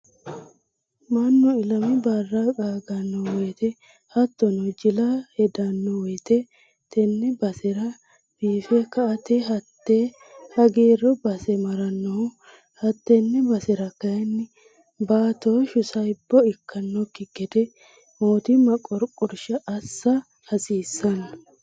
Mannu ilami barra qaagano woyte hattono jilla heedhano woyte tene basera biife kaeti hate hagiiru base maranohu ,hatene basera kayinni baatoshu saibbo ikkanokki gede mootimma qorqorsha assa hasiisano.